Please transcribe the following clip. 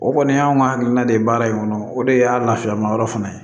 O kɔni y'anw ka hakilina de ye baara in kɔnɔ o de y'a lafiya ma yɔrɔ fana ye